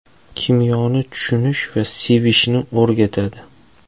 Kimyoni tushunish va sevishni o‘rgatadi.